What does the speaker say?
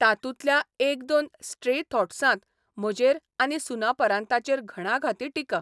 तातूंतल्या एक दोन स्ट्रे थॉट्सांत म्हजेर आनी 'सुनापरान्ता'चेर घणाघाती टिका.